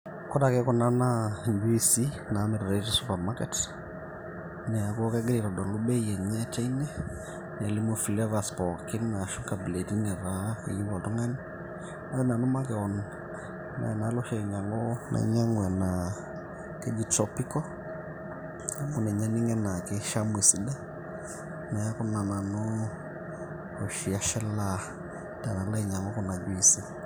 ore ake kuna naa injuisi namiritae te supermarket neeku kegira aitodolu bei enye teine nelimu flavours pookin ashu inkabilaitin netaa keyieu oltung'ani ore nanu makewon neenalo oshi ainyiang'u nainyiang'u enaa keji tropical amu ninye aning' enaa keishamu esidai neeku ina nanu oshi ashilaa tenalo ainyiang'u kuna juisi.